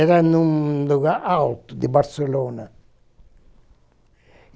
Era em um lugar alto, de Barcelona.